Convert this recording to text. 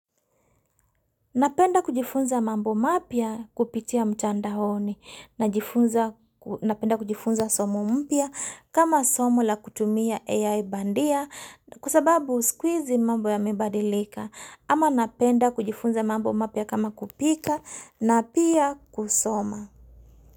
Napenda kujifunza mambo mapya kupitia mtandaoni na napenda kujifunza somo mpya kama somo la kutumia AI bandia kwa sababu siku izi mambo yamebadilika ama napenda kujifunza mambo mapya kama kupika na pia kusoma.